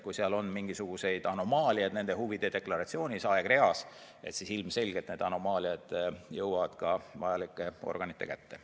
Kui nende huvide deklaratsiooni aegreas on mingisuguseid anomaaliaid, siis ilmselgelt need anomaaliad jõuavad ka vajalike organiteni.